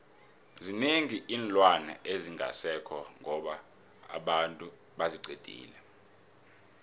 zinengi iinlwana ezingasekho ngoba abantu baziqedile